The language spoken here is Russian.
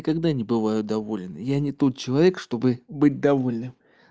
ни когда не бываю довольный я не тот человек чтобы быть довольным